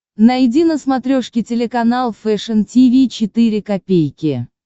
найди на смотрешке телеканал фэшн ти ви четыре ка